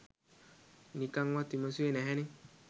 නිකන්වත් විමසුවේ නැහැනේ